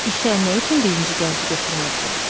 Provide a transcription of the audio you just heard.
İşə nə üçün birinci gənci götürmədilər?